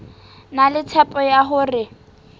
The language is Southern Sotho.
na le tshepo ya hore